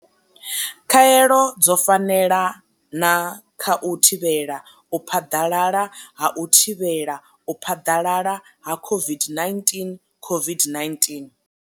Khaelo dzo fanela na kha u thivhela u phaḓalala ha u thivhela u phaḓalala ha COVID-19, COVID-19.